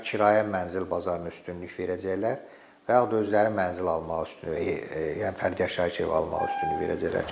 Ya kirayə mənzil bazarını üstünlük verəcəklər və yaxud da özləri mənzil almağı üstünlük verəcəklər.